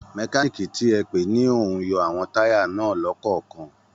Mẹkáníìkì ti ẹ pè ni ó ń yọ àwọn táyà náà lọ́kọ̀ọ̀kan